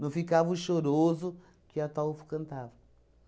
Não ficava o choroso que Ataulfo cantava.